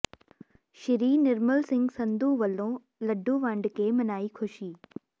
ਸੀ ਨਿਰਮਲ ਸਿੰਘ ਸੰਧੂ ਵੱਲੋਂ ਲੱਡੂ ਵੰਡ ਕੇ ਮਨਾਈ ਖੁਸ਼ੀ